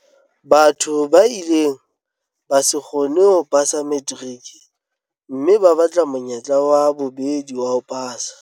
Batho ba ileng ba se kgone ho pasa materiki mme ba batla monyetla wa bobedi wa ho pasa.